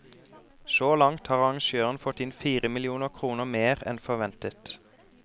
Så langt har arrangøren fått inn fire millioner kroner mer enn forventet.